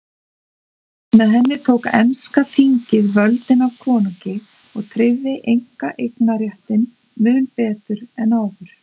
Með henni tók enska þingið völdin af konungi og tryggði einkaeignarréttinn mun betur en áður.